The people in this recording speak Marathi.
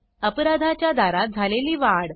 अपराधाच्या दारात झालेली वाढ